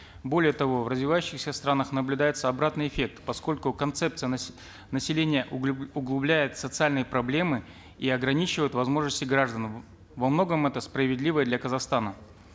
более того в развивающихся странах наблюдается обратный эффект поскольку концепция населения углубляет социальные проблемы и ограничивает возможности граждан во многом это справедливо и для казахстана